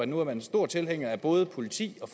nu er en stor tilhænger af både politi og